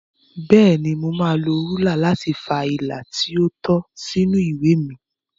Bẹ́ẹ̀ni, mo máa lo rúlà láti fa ilà tí ó tọ́ sínú ìwé mi.